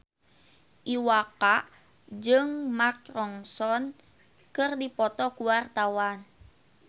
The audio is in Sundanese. Iwa K jeung Mark Ronson keur dipoto ku wartawan